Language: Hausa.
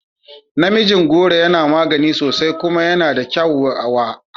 Namijin goro yana magani sosai kuma yana da kyau wa hanta